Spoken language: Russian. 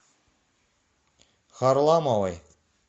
харламовой